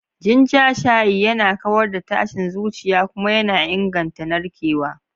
Ginger shayi yana kawar da tashin zuciya kuma yana inganta narkewa.